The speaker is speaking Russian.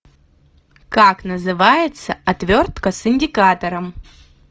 как называется отвертка с индикатором